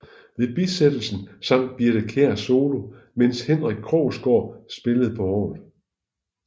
Ved bisættelsen sang Birthe Kjær solo mens Henrik Krogsgaard spillede på orgel